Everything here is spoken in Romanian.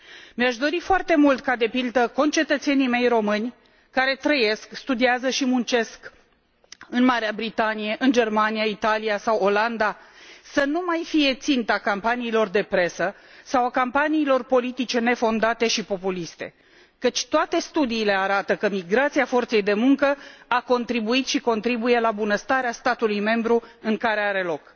Mi aș dori foarte mult ca, de pildă, concetățenii mei români, care trăiesc, studiază și muncesc în Marea Britanie, în Germania, Italia sau Olanda, să nu mai fie ținta campaniilor de presă sau a campaniilor politice nefondate și populiste, căci toate studiile arată că migrația forței de muncă a contribuit și contribuie la bunăstarea statului membru în care are loc.